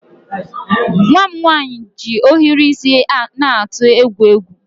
Nwa m nwaanyị ji ohiri isi na-atụ egwu egwu.